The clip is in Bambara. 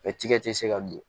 tigɛ tɛ se ka don